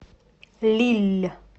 лилль